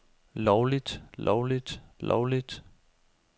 lovligt lovligt lovligt